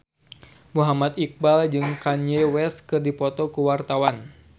Muhammad Iqbal jeung Kanye West keur dipoto ku wartawan